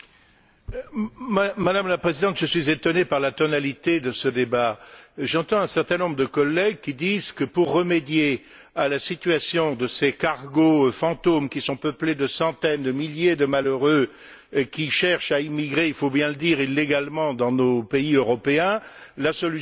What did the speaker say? Madame la Présidente, je suis étonné par la tonalité de ce débat. J'entends un certain nombre de collègues qui disent que, pour remédier à la situation de ces cargos fantômes qui sont peuplés de centaines, de milliers de malheureux qui cherchent à immigrer illégalement, il faut bien le dire, dans nos pays européens, la solution serait d'ouvrir